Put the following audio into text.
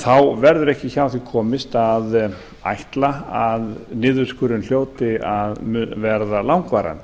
mikið verður ekki hjá því komist að menn ætla að niðurskurðurinn hljóti að verða langvarandi